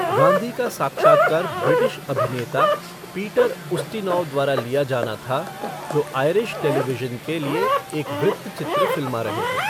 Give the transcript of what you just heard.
गांधी का साक्षात्कार ब्रिटिश अभिनेता पीटर उस्टिनौव द्वारा लिया जाना था, जो आयरिश टेलीविज़न के लिए एक वृत्तचित्र फ़िल्मा रहे थे।